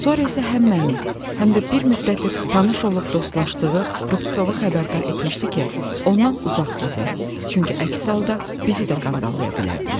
Sonra isə həm məni, həm də bir müddətdir tanış olub dostlaşdığı Rubtsovu xəbərdar etmişdi ki, ondan uzaq gəzək, çünki əks halda bizi də qandalaya bilərdilər.